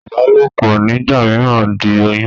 Ìbálòpọ̀ nígbà mìíràn ń di oyún.